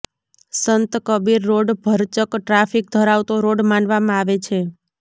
Sant Kabir road ભરચક traffic ધરાવતો road માનવામાં આવે છે